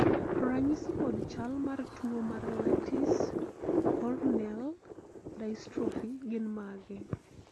ranyisi kod chal mar tuo mar Lattice corneal dystrophy gin mage?